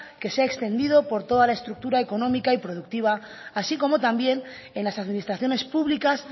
que se ha extendido por toda la estructura económica y productiva así como también en las administraciones públicas